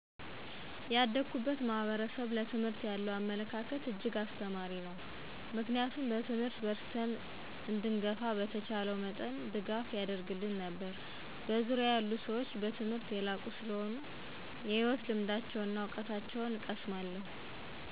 ያደኩበት ማህበረሰብ ለትምህርት ያለው አመለካከት እጅግ አስተማሪ ነው ምክንያቱም በትምህርት በርትተን እንድንገፋ በተቻለው መጠን ድጋፍ ያደርግልን ነበር። በዙርያየ ያሉ ሰዎች በትምህርት የላቁ ሰለሆኑ የህይወት ልምዳቸውና እውቀታቸውን እቀሰማለሁ።